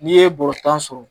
N'i ye bɔrɛ tan sɔrɔ